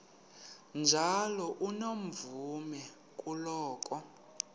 njalo unomvume kuloko